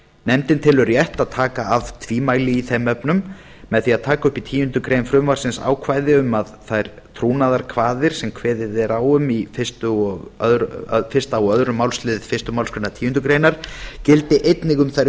nefndin telur rétt að taka af tvímæli í þeim efnum með því að taka upp í tíundu greinar frumvarpsins ákvæði um að þær trúnaðarkvaðir sem kveðið er á um í fyrsta og önnur málsl fyrstu málsgreinar tíundu grein gildi einnig um þær